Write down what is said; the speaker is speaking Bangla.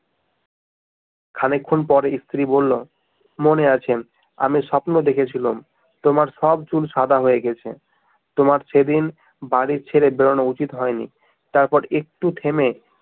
খানিকক্ষণ পর স্ত্রী বলল মনে আছে আমি স্বপ্ন দেখেছিলুম তোমার সব চুল সাদা হয়ে গেছে তোমার সেদিন বাড়ি ছেড়ে বেরোনো উচিৎ হয় নি তারপর একটু থেমে